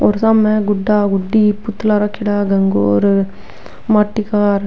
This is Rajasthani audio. और सामने गुडा गुड्डी पुतला रखेड़ा गणगौर माट्टी का और --